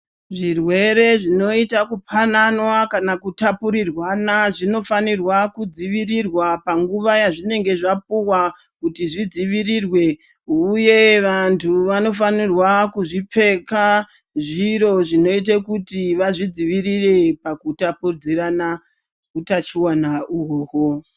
Zvirwere zvinoyita kupananwa kana kutapurirwana, zvinofanirwa kudzivirirwa panguva yazvinenge zvapuwa, kuti zvidzivirirwe wuye vantu vanofanirwa kuzvipfeka, zviro zvinoyite kuti vazvidzivirire pakutapudzirana utachiwana uhoho.